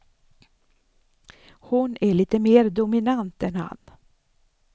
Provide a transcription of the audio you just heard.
Hon är lite mer dominant än han.